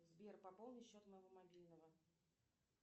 сбер пополни счет моего мобильного